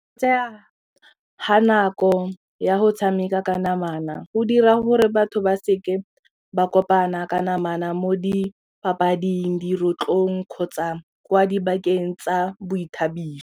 Tseya ga nako ya go tshameka ka namana go dira gore batho ba seke ba kopana ka namana mo dipapading, dirotlong kgotsa kwa dibakeng tsa boithabiso.